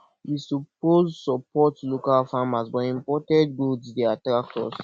we suppose support local farmers but imported goods dey attract us